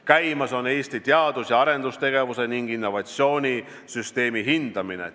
Käimas on Eesti teadus- ja arendustegevuse ning innovatsiooni süsteemi hindamine.